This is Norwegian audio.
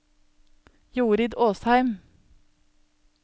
Jorid Åsheim